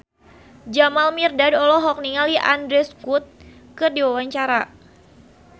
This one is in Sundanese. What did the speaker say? Jamal Mirdad olohok ningali Andrew Scott keur diwawancara